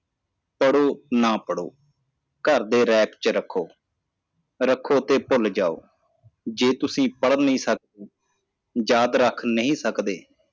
ਪੜੋ ਨਾ ਪੜੋ ਘਰ ਦੇ rack ਚ ਰੱਖੋ ਰੱਖੋ ਤੇ ਭੁੱਲ ਜਾਓ ਜੇ ਤੁਸੀ ਪੜ੍ਹ ਨਹੀ ਸਕਦੇ ਯਾਦ ਰਖ ਨਹੀ ਸਕਦੇ